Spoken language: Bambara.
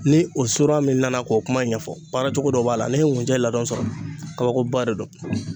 Ni o min nana k'o kuma ɲɛfɔ baara cogo dɔ b'a la n'i ye ngunjɛ ladɔn sɔrɔ kabakoba de don.